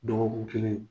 Dɔgɔkun kelen